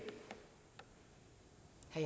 vi